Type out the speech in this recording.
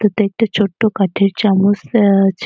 এতাটে একটা ছোট্ট কাঠের চামচ দেওয়া আছে।